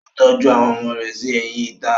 Ó tọ́jú àwọn ọmọ rẹ̀ sí ẹ̀yìn ìta.